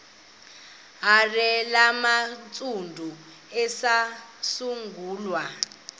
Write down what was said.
hare yabantsundu eyasungulwa